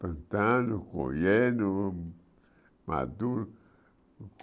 Plantando, colhendo, maduro.